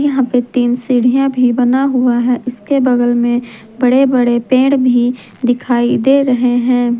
यहां पे तीन सीढ़ियां भी बना हुआ है इसके बगल में बड़े बड़े पेड़ भी दिखाई दे रहे हैं।